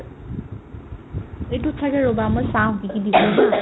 এইটোত ছাগে ৰ'বা মই চাও কি কি দিছে haa